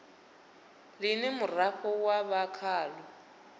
ḽine muraḓo wa vha khaḽo